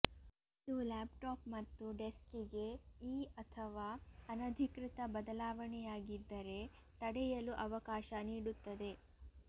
ಇದು ಲ್ಯಾಪ್ಟಾಪ್ ಮತ್ತು ಡೆಸ್ಕ್ ಗೆ ಈ ಅಥವಾ ಅನಧಿಕೃತ ಬದಲಾವಣೆಯಾಗಿದ್ದರೆ ತಡೆಯಲು ಅವಕಾಶ ನೀಡುತ್ತದೆ